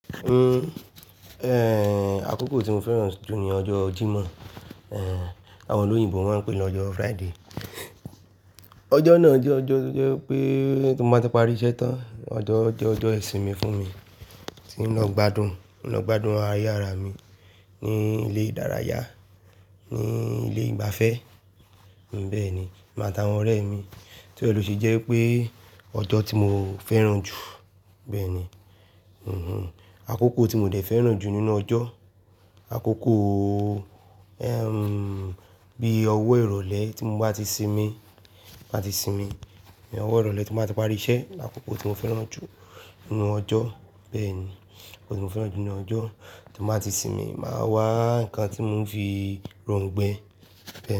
Uhm, eh, àkókò tí mo fẹ́ràn jù ní ọjọ́ Jímọ̀, eh, àwọn olóyìnbo wọ́n ń pè ní ọjọ́ Friday. Ọjọ́ náà jẹ́ ọjọ́ tó jẹ́ pé tó bá ti parí iṣẹ́ tán, ọjọ́ jẹ́ ọjọ́ ìsinmi fún mi, tí n lọ gbádùn, lọ gbádùn ara yára mi ní ilé ìdárayá, ní ilé ìgbafẹ́, bẹ́ẹ̀ ni, máa ta àwọn ọ̀rẹ́ mi, niori ni ló ṣe jẹ́ pé ọjọ́ tí mo fẹ́ràn jù, bẹ́ẹ̀ ni. Hm-hm, àkókò tí mò dè fẹ́ràn jù nínú ọjọ́, àkókò, eh, bí owó ìrọ̀lẹ́ tí mo bá ti sinmi, bá ti sinmi, bí owó ìrọ̀lẹ́ tó bá ti parí iṣẹ́, àkókò tí mo fẹ́ràn jù nínú ọjọ́, bẹ́ẹ̀ ni, ọjọ́ tí mo fẹ́ràn jù nínú ọjọ́ ti n bá ti sinmi, màá wá nǹkan tí mò ń fi rọ̀ǹgbẹ.